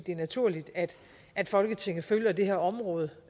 er naturligt at at folketinget følger det her område